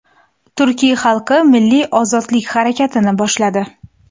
Turk xalqi milliy ozodlik harakatini boshladi.